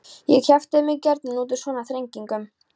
Ég kjaftaði mig gjarnan út úr svona þrengingum.